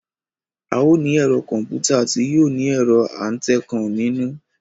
A o ní ẹ̀rọ kọ̀m̀pútà tí yóò ní ẹ̀rọ atẹǹkan nínú